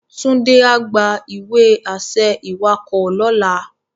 Tunde á gbá iwe-ašẹ iwákò lòlá